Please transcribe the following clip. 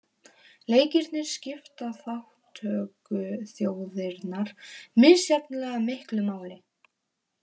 Leikirnir skipta þátttökuþjóðirnar misjafnlega miklu máli